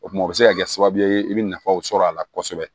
O tuma o bɛ se ka kɛ sababu ye i bɛ nafaw sɔrɔ a la kosɛbɛ